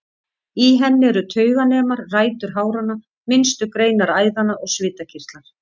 Í henni eru tauganemar, rætur háranna, minnstu greinar æðanna og svitakirtlar.